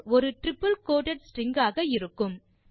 ஒரு triple coated string ஆக இருக்கும்